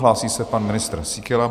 Hlásí se pan ministr Síkela.